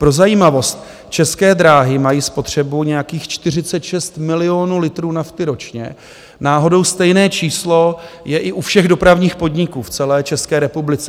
Pro zajímavost, České dráhy mají spotřebu nějakých 46 milionů litrů nafty ročně, náhodou stejné číslo je i u všech dopravních podniků v celé České republice.